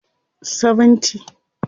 70